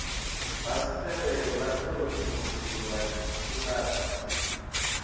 fasiṱere ḽa ṱorokisi ḽa kiḽasi